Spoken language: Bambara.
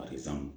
A bɛ san